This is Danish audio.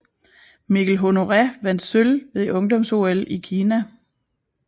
Mikkel Honoré vandt sølv ved ungdoms OL i Kina